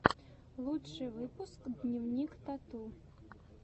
лучший выпуск дневник тату